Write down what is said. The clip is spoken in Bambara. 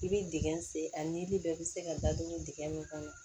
I bɛ dingɛ sen a nili bɛɛ bɛ se ka dadugu dingɛ min kɔnɔ